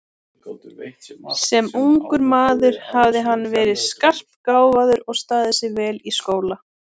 Sem ungur maður hafði hann verið skarpgáfaður og staðið sig vel í skóla.